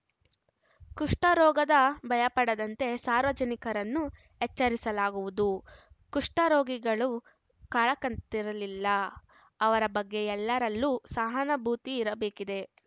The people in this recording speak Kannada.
ಕುಷ್ಠರೋಗದ ಭಯಪಡದಂತೆ ಸಾರ್ವಜನಿಕರನ್ನು ಎಚ್ಚರಿಸಲಾಗುವುದು ಕುಷ್ಠ ರೋಗಿಗಳು ಕಳಂಕಿತರಲ್ಲ ಅವರ ಬಗ್ಗೆ ಎಲ್ಲರಲ್ಲೂ ಸಹನಾಭೂತಿ ಇರಬೇಕಿದೆ